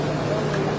İki yüz.